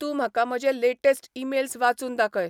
तूंं म्हाका म्हजे लेटॅस्ट ईमेल्स वाचून दाखय